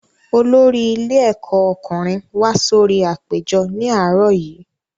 Olórí ilé ẹ̀kọ́ ọkùnrin wá sórí apèjọ ní àárọ̀ yìí